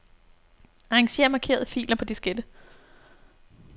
Arranger markerede filer på diskette.